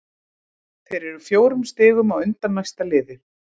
Þeir eru fjórum stigum á undan næsta liði.